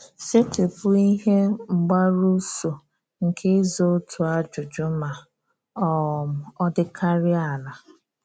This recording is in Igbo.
Setị́pụ́ ihe mgbarụ́sọ̀ nke ị́za otu ajụ́jụ́ ma um ọ́ dịkarịa ala.